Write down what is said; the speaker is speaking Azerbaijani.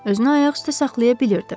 Özünü ayaq üstə saxlaya bilirdi.